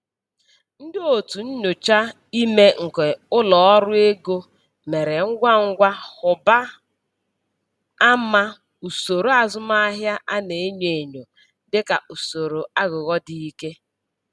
Ndị otu nnyocha ime nke ụlọ ọrụ ego mere ngwa ngwa hụba ama usoro azụmahịa a na-enyo enyo dịka usoro aghụghọ dị ike.